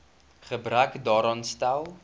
gebrek daaraan stel